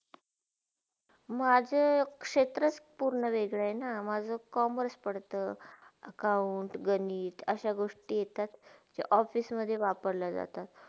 माझे क्षेत्र पुरणे वेगळेना आहेना माझा commerce परता accounts गणित असा गोष्टी येतात झे office मधे वापरल्या जातात.